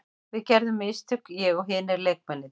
Við gerðum mistök, ég og hinir leikmennirnir.